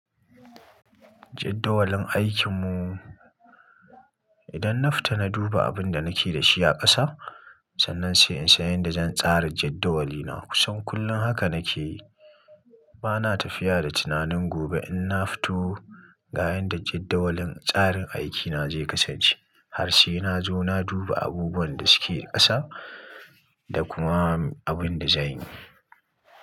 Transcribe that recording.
Jaddawalin aikin mu. Idan na fita na duba abin da nake da shi a ƙasa, sannan sai in san yadda zan tsara jaddawali na. Kusan kullum haka nake yi. Ba na tafiya da tunanin gobe in na fito ga yadda jaddawalin tsarin aikina zai kasance. Har sai na zo na duba abubuwan da suke ƙasa da kuma abin da zanyi.